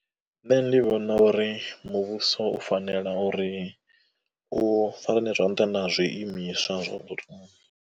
Nṋe ndi vhona uri muvhuso u fanela uri u zwa nṱha na zwiimiswa zwa .